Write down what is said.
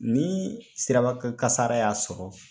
Ni sirabakan kasara y'a sɔrɔ